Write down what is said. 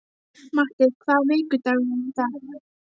Matti, hvaða vikudagur er í dag?